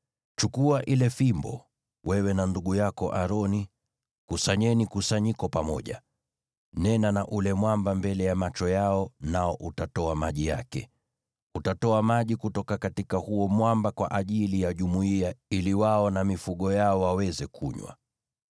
“Chukua ile fimbo, na wewe na ndugu yako Aroni mkusanye kusanyiko pamoja. Nena na ule mwamba mbele ya macho yao, nao utatoa maji yake. Utatoa maji kutoka huo mwamba kwa ajili ya jumuiya ili wao na mifugo yao waweze kunywa.”